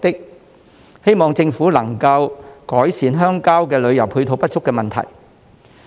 我希望政府能改善鄉郊旅遊配套不足的問題。